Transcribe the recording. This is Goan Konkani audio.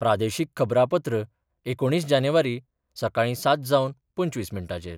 प्रादेशीक खबरांपत्र एकुणीस जानेवारी, सकाळी सात जावन पंचवीस मिनटांचेर